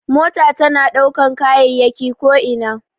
Mota tana ɗaukan kayayyaki ko ina.